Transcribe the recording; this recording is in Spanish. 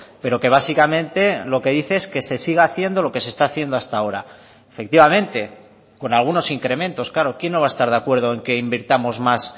pero que básicamente lo que dice es que se siga haciendo lo que se está haciendo hasta ahora efectivamente con algunos incrementos claro quién no va a estar de acuerdo en que invirtamos más